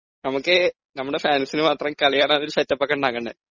നമുക്ക് നമ്മുടെ ഫാൻസിന് മാത്രം കളി കാണാനുള്ള ഒരു സെറ്റ് അപ്പ് ഒക്കെ ഉണ്ടാക്കേണ്ടെ ?